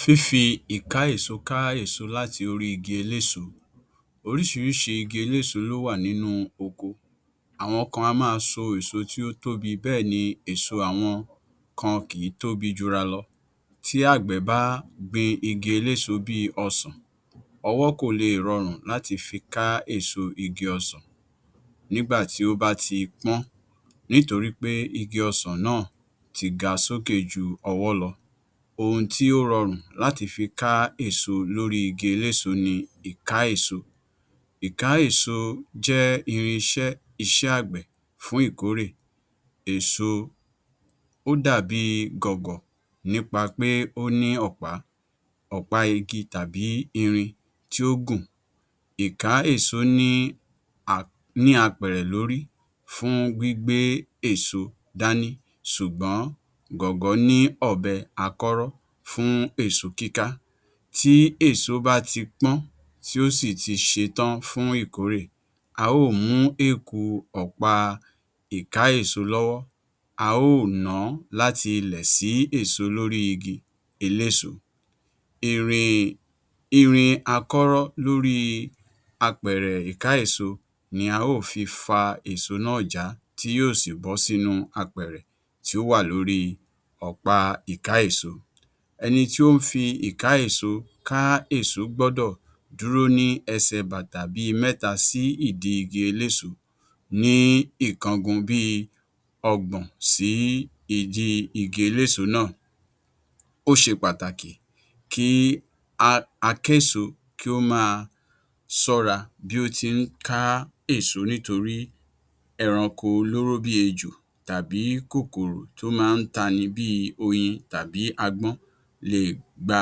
Fífi ìká-èso ká èso làti orí igi eléso Oríṣiríṣi igi eléso ló wà nínú oko. Àwọn kan á máa so èso tí ó tóbi bẹ́ẹ̀ ni èso àwọn kan kìí tóbi jura lọ. Tí àgbẹ̀ bá gbin igi eléso bíi ọsàn, ọwọ́ kò leè rọrùn láti fi ká èso igi ọsàn nígbà tí ó bá ti pọ́n nítorí pé igi ọsàn náà ti ga sókè ju ọwọ́ lọ. Ohun tí ó rọrùn láti fi ká èso lórí igi eléso ni ìká-èso. Ìká-èso jẹ́ irinṣẹ́ iṣẹ́ àgbẹ̀ fún ìkórè èso. Ó dàbí gọ̀gọ̀ nípa pé ó ní ọ̀pá, ọ̀pá igi tàbí irin tí ó gùn. Ìká-èso ní a ní apẹ̀rẹ̀ lórí fún gbígbé èso dání ṣùgbọ́n gọ̀gọ́ ni ọ̀bẹ akọ́rọ́ fún èso kíká. Tí èso bá ti pọ́n tí ò sì ti ṣetán fún ìkórè, a ó mú ọ̀pá ìká-èso lọ́wọ́, a ó nàá láti ilẹ̀ sí èso lórí igi eléso. Irin irin akọ́rọ́ lórí apẹ̀rẹ̀ ìká-èso ni a ó fi fa èso náà jàá tí yóò sì bọ̀ọ́ sínú apẹ̀rẹ̀ tí ó wà lórí ọ̀pá ìká-èso. Ẹni tí o ń fi ìká-èso ká èso gbọ́dọ̀ dúró ní ẹsẹ̀ bàtà bíi mẹ́ta sí ìdí igi eléso ní ìkọgun bíi ọgbọ̀n sí ìdí igi eléso náà. Ó ṣe pàtàkì kí a akéso kí ó máa ṣọ́ra bí ó ti ń ká èso nítorí ẹranko olóró bíi ejò tàbí kòkòrò tó máa ń tani bíi oyin tàbí agbọ́n leè gba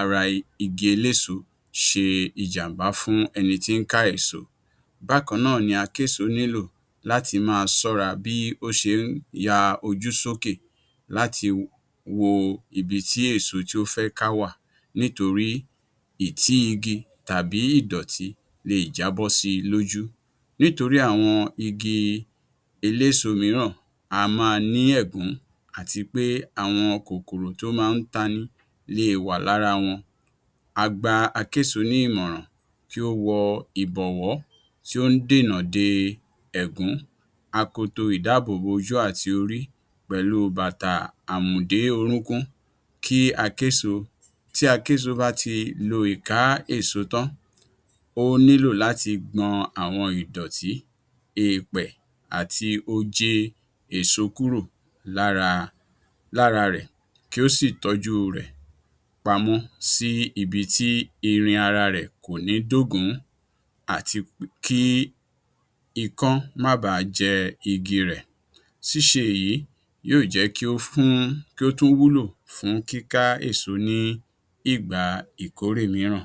ara igi eléso ṣe ìjàm̀bá fún ẹni tí ń ka èso. Bákan náà ni akéso nílò láti máa ṣọ́ra bí ó ṣe ń ya ojú sókè láti wo ibi tí èso tí ó fẹ́ ká wà nítorí ìtí igi tàbí ìdọ̀tí leè jábọ́ si lójú. Nítorí àwọn igi eléso mìíràn a máa ní ẹ̀gún àti pé àwọn kòkòrò tí ó máa ń tani leè wà lára wọn. A gba akéso ní ìmọ̀ràn kí ó wọ ìbọ̀wọ́ tí ó ń dènà de ẹ̀gún, akoto ìdáàbòbò ojú àti orí, pẹ̀lú bàtà àmù-dé-orúnkún. Kí akéso tí akéso bá ti lo ìká-èso tán, ó nílò láti gbọn àwọn ìdòtí, eèpè, àti òjé èso kúrò lára lára rẹ̀ kí ó sì tọ́jú rẹ̀ pamọ́ sí ibi tí irin ara rẹ̀ kò ní dógùn-ún àti kí ikán má bàá jẹ igi rẹ̀. Ṣíṣe èyí yíò jẹ́ kí ó fún kí ó tún wúlò fún kíká èso ní ìgbà ìkórè mìíràn.